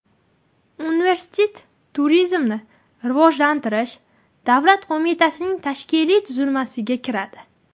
Universitet Turizmni rivojlantirish davlat qo‘mitasining tashkiliy tuzilmasiga kiradi.